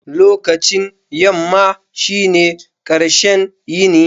Lokacin yamma shine ƙarshen yini.